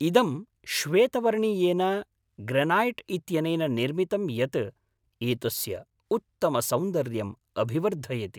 इदं श्वेतवर्णीयेन ग्रेनाइट् इत्यनेन निर्मितं यत् एतस्य उत्तमसौन्दर्यम् अभिवर्धयति।